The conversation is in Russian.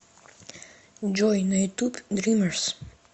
джой на ютуб дримерс